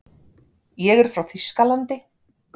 Ég er frá Þýskalandi.